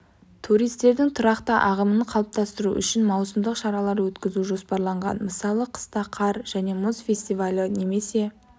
туристердің тұрақты ағымын қалыптастыру үшін маусымдық шаралар өткізу жоспарланған мысалы қыста қар және мұз фестивалі немесе